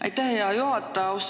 Aitäh, hea juhataja!